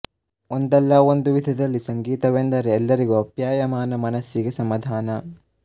ಒಂದಲ್ಲ ಒಂದು ವಿಧದಲ್ಲಿ ಸಂಗೀತವೆಂದರೆ ಎಲ್ಲರಿಗೂ ಅಪ್ಯಾಯಮಾನ ಮನಸ್ಸಿಗೆ ಸಮಾಧಾನ